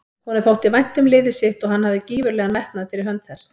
Honum þótti vænt um liðið sitt og hann hafði gífurlegan metnað fyrir hönd þess.